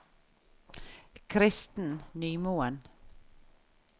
Kristen Nymoen